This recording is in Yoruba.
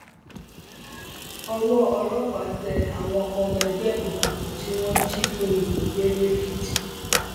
owó ọlọpàá tẹ àwọn ọmọ ẹgbẹ òkùnkùn tí wọn jí òyìnbó gbé lẹkìtì